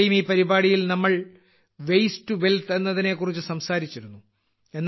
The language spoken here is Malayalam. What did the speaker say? നേരത്തെയും ഈ പരിപാടിയിൽ നമ്മൾ വേസ്റ്റ് ടു വെൽത്ത് എന്നതിനെ കുറിച്ച് സംസാരിച്ചിരുന്നു